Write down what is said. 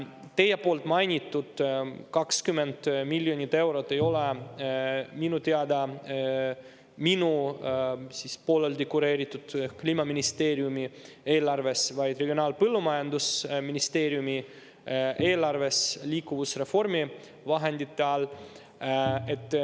Teie mainitud 20 miljonit eurot ei ole minu teada pooleldi minu kureeritava Kliimaministeeriumi eelarves, vaid Regionaal‑ ja Põllumajandusministeeriumi eelarves liikuvusreformi vahendite all.